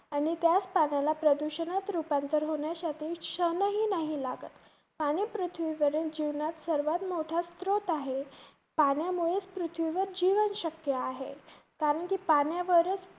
आणि त्याच पाण्याला प्रदूषणात रुपांतर होण्यासाठी क्षणही नाही लागत. पाणी पृथ्वीवरील जीवनात सर्वांत मोठा स्त्रोत आहे. पाण्यामुळेचं पृथ्वीवरील जीवन शक्य आहे. कारण कि पाण्यावरचं